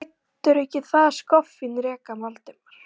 Þú lætur ekki það skoffín reka Valdimar!